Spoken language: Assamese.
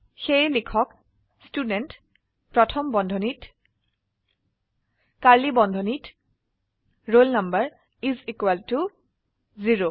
সেয়ে লিখক ষ্টুডেণ্ট প্ৰথম বন্ধনীত কাৰ্ড়লী বন্ধনীত roll number is equal to 0